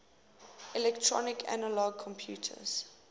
electronic analog computers